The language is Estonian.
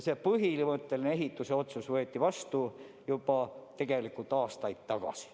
Põhimõtteline ehitamise otsus võeti tegelikult vastu juba aastaid tagasi.